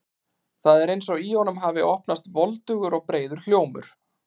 Það er eins og í honum hafi opnast voldugur og breiður hljómur.